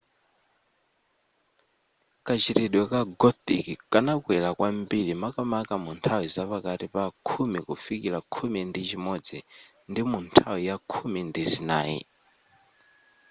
kachitidwe ka gothic kanakwera kwambiri makamaka munthawi zapakati pa khumi kufikila khumi ndi chimodzi ndi munthawi ya khumi ndi zinayi